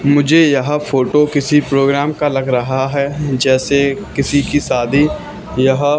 मुझे यह फोटो किसी प्रोग्राम का लग रहा है जैसे किसी की शादी यह--